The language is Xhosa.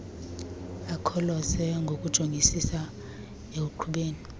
akholose ngokujongisisa ekuqhubeni